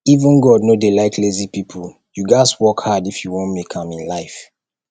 even god no dey like lazy people you gats work hard if you wan make am in life